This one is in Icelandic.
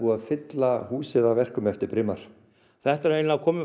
að fylla húsið af verkum eftir Brimar þetta er eiginlega komið